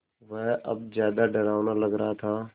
वह अब ज़्यादा डरावना लग रहा था